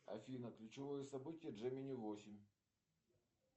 афина ключевой событие джемини восемь